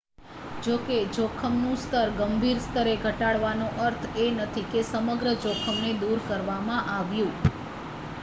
જોકે જોખમનું સ્તર ગંભીર સ્તરે ઘટાડવાનો અર્થ એ નથી કે સમગ્ર જોખમ ને દૂર કરવામાં આવ્યું